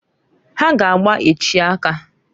Ha g' agba echi aka.